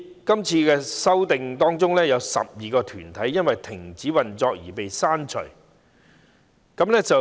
今次修訂中有12個團體因停止運作而被刪除。